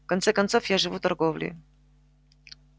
в конце концов я живу торговлей